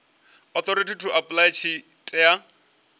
authority to apply tshi tea